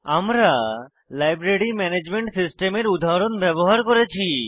আমরা library management সিস্টেমের উদাহরণ ব্যবহার করেছি